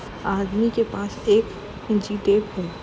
आदमी के पास एक इंची टेप है।